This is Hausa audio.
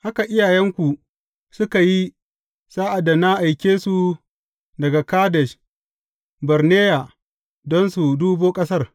Haka iyayenku suka yi sa’ad da na aike su daga Kadesh Barneya don su dubo ƙasar.